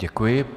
Děkuji.